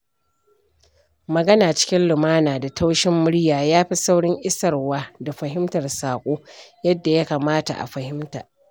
Magana cikin lumana da taushin murya yafi saurin isarwa da fahimtar saƙo yadda ya kamata a fahimta.